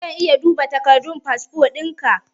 Zan iya duba takardun fasfo ɗinka?